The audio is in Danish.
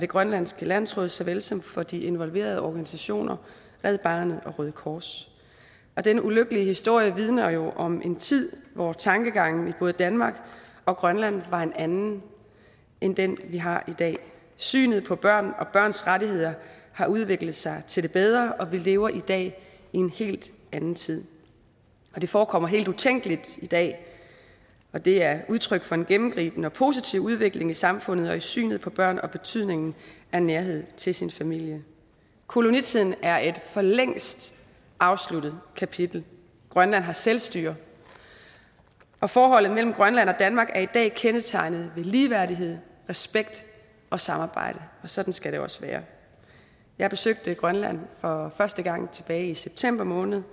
grønlands landsråd såvel som for de involverede organisationer red barnet og røde kors og denne ulykkelige historie vidner jo om en tid hvor tankegangen i både danmark og grønland var en anden end den vi har i dag synet på børn og børns rettigheder har udviklet sig til det bedre og vi lever i dag i en helt anden tid det forekommer helt utænkeligt i dag og det er udtryk for en gennemgribende og positiv udvikling i samfundet og i synet på børn og betydningen af nærhed til sin familie kolonitiden er et for længst afsluttet kapitel grønland har selvstyre og forholdet mellem grønland og danmark er i dag kendetegnet ved ligeværdighed respekt og samarbejde og sådan skal det også være jeg besøgte grønland for første gang tilbage i september måned